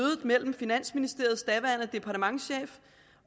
med finansministeriets daværende departementschef